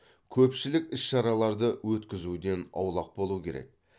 көпшілік іс шараларды өткізуден аулақ болу керек